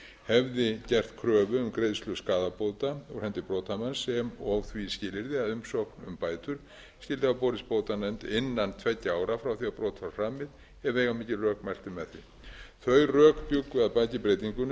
hefði gert kröfu um greiðslu skaðabóta úr hendi brotamanns sem og því skilyrði að umsókn um bætur skyldi hafa borist bótanefnd innan tveggja ára frá því að brot var framið ef veigamikil rök mæltu með því þau rök bjuggu að baki breytingunni